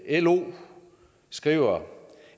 lo skriver